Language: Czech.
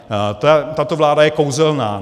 Tato vláda je kouzelná.